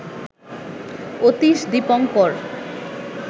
Atish Dipankar